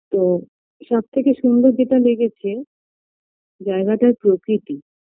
তো সব থেকে সুন্দর যেটা লেগেছে জায়গাটার প্রকৃতি